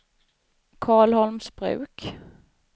Karlholmsbruk